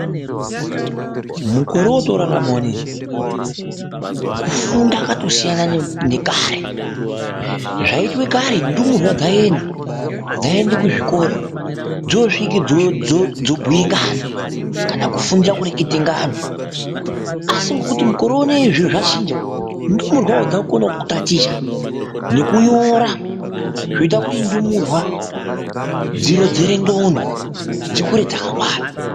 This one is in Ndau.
Mukore woto rarama uneyi kufunda kwato siyana nekare zvai itwa kare ndumurwa dzai enda ku zvikora dzo svike dzo bhuye ngano kana ku fundira kureketa ngano asi ngekuti mukore unei zviro zva chinja ndumurwawo dzaku konawo ku taticha neku nyora zvinoita kuti ndumurwa dzi rodzere ndxondo dzikure dzaka ngwara.